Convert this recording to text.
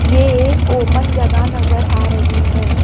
ये एक ओपन जगह नजर आ रही है।